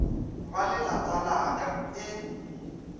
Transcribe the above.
ba lelapa la ka e